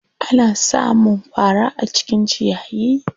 Ana sa mun fara a cikin ciyayi.